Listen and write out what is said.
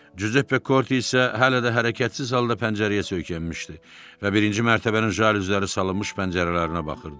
Cüzeppe Korte isə hələ də hərəkətsiz halda pəncərəyə söykənmişdi və birinci mərtəbənin jaluzləri salınmış pəncərələrinə baxırdı.